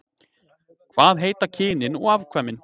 Hvað heita kynin og afkvæmin?